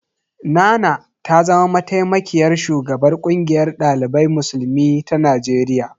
Nana ta zama mataimakiyar shugabar ƙungiyar ɗalibai musulmi ta Najeriya.